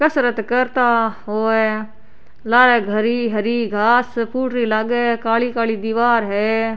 कसरत करता होये लारे घरी हरी घास फुटरी लागे काली काली दिवार है।